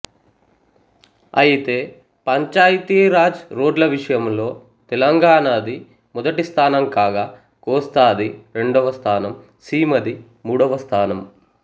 అయితే పంచాయతీ రాజ్ రోడ్ల విషయంలో తెలంగాణది మొదటిస్థానం కాగా కోస్తాది రెండవ స్థానం సీమది మూడవ స్థానం